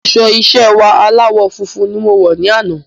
Aṣọ iṣẹ́ wa aláwọ̀ funfun ní mọ wọ̀ ní àna